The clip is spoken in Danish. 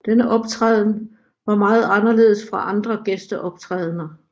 Denne optræden var meget anderledes fra andre gæsteoptrædender